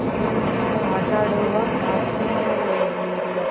ಇದು ಮಕ್ಕಳು ಆಟ ಆಡುವ ಪಾರ್ಕಿಂಗ್ ಏರಿಯಾ .